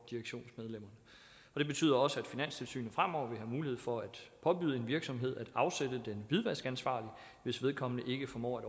direktionsmedlemmerne det betyder også at finanstilsynet fremover vil have mulighed for at påbyde en virksomhed at afsætte den hvidvaskansvarlige hvis vedkommende ikke formår at